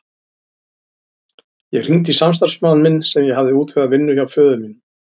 Ég hringdi í samstarfsmann minn sem ég hafði útvegað vinnu hjá föður mínum.